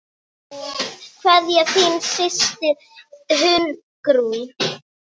Kveðja, þín systir, Hugrún.